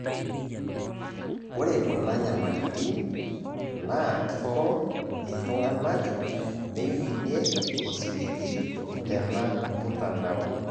Ore kuna nyamalitin naa kiko iltung'anak meiminie osiligi tena mtandao